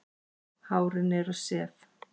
Hárin eru sef.